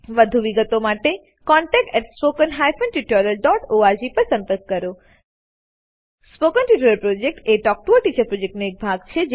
વધુ વિગતો માટે કૃપા કરી contactspoken tutorialorg પર લખો spoken tutorial project talk to a teacher પ્રોજેક્ટનો એક ભાગ છે